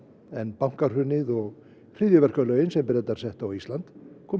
en bankahrunið og hryðjuverkalögin sem Bretar settu á Ísland komu í